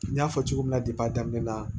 N y'a fɔ cogo min na daminɛ na